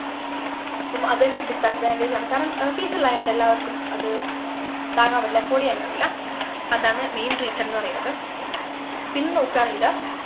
അപ്പൊ അതൊരു disadvantage ആണ് കാരണം ഏർ fees എല്ലാം ആയോണ്ട് എല്ലാർക്കും അത് താങ്ങാൻ പറ്റില്ല afford ചെയ്യാൻ കഴിയില്ല അതാണ് main reason ന്നു പറയുന്നത് പിന്നെ നോക്കുകാണെങ്കില്